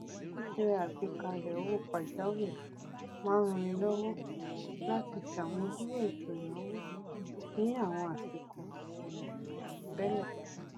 ṣíṣe àgbékalẹẹ owó pàjáwìrì máa n rannilọwọ láti ṣàmúdúró ètò ìnáwó ní àwọn àsìkò ìṣẹlẹ àìròtẹlẹ